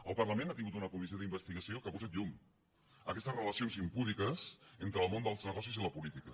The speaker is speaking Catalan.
el parlament ha tingut una comissió d’investigació que ha posat llum a aquestes relacions impúdiques entre el món dels negocis i la política